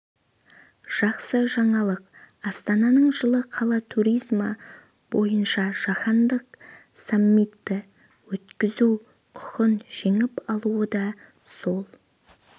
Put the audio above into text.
жақсы жаңалық астананың жылы қала туризмі бойынша жаһандық саммитті өткізу құқын жеңіп алуы да сол